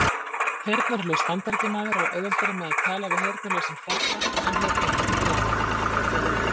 Heyrnarlaus Bandaríkjamaður á auðveldara með að tala við heyrnarlausan Frakka en heyrnarlausan Breta!